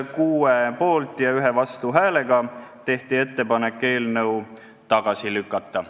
6 poolt- ja 1 vastuhäälega tehti ettepanek eelnõu tagasi lükata.